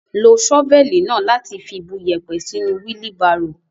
Lo ṣọ́fẹ́ẹ̀lì náà láti bu iyẹ̀pẹ̀ sínú wílí barò.